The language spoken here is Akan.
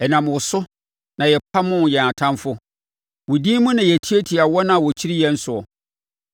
Ɛnam wo so na yɛpamoo yɛn Atamfoɔ; wo din mu na yɛtiatia wɔn a wɔkyiri yɛn soɔ.